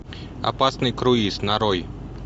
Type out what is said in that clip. опасный круиз нарой